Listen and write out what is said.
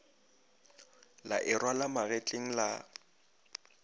la e rwala magetleng la